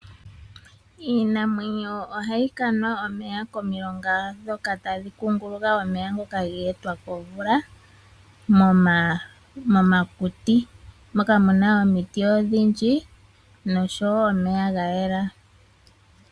Iinamwenyo ohayi kanwa omeya komilonga ndhoka tadhi kunguluka omeya ngoka ge etwa komvula, momakuti, moka mu na omiti nosho wo omeya gayela.